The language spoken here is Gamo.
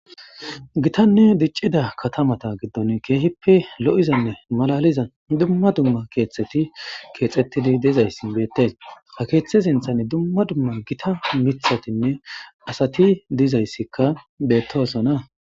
Gitanne diccida katamata giddon keehippe lo'izanne malaliza dumma dumma keetteti keexettidi dizayssi beettes a keeththe sinthan dumma dumma gita mithatinne asati dizayssikka beettosona.